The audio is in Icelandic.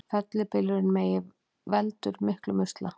Fellibylurinn Megi veldur miklum usla